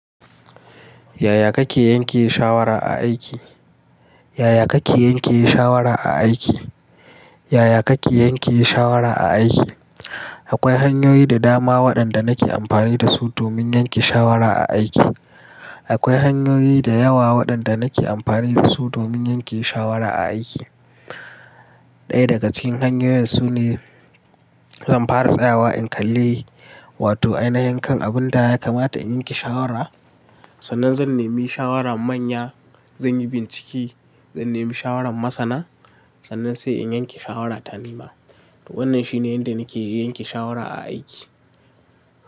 Yaya kake yanke shawara a aiki? Yaya kake yanke shawara a aiki? Yaya kake yanke shawara a aiki? Akwai hanyoyi da dama waɗanda nake amfani da su domin yanke shawara a aiki. Akwai hanyoyi da yawa waɗanda nake amfani da su domin yanke shawara a aiki. Ɗaya daga cikin hanyoyin su ne in fara tsayawa in kalle, wato ainihin abun da ya kamata in yanke shawara, sannan zan nemi shawaran manya, zan yi bincike, zan nemi shawaran masana, sannan sai in yanke shawara ta nema. Wannan shine yadda nake yanke shawara a aiki.